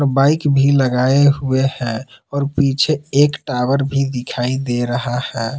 Bike भी लगाए हुए है और पीछे एक टावर भी दिखाई दे रहा है।